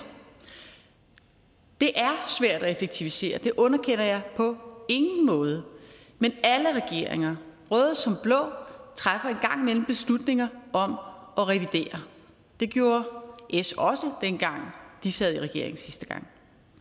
det er svært at effektivisere det underkender jeg på ingen måde men alle regeringer røde som blå træffer en gang imellem beslutninger om at revidere det gjorde s også da de sad i regering sidste gang